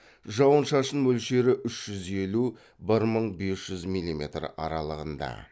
жауын шашын мөлшері үш жез елу бір мың бес жүз милиметр аралығында